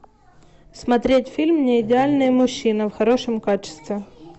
смотреть фильм не идеальный мужчина в хорошем качестве